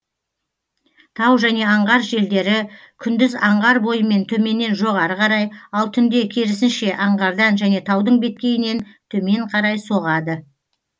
тау және аңғар желдері күндіз аңғар бойымен төменнен жоғары қарай ал түнде керісінше аңғардан және таудың беткейінен төмен қарай соғады